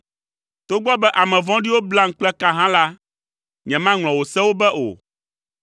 Togbɔ be ame vɔ̃ɖiwo blam kple ka hã la, nyemaŋlɔ wò sewo be o.